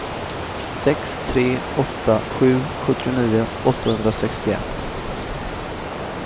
sex tre åtta sju sjuttionio åttahundrasextioett